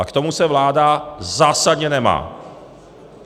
A k tomu se vláda zásadně nemá.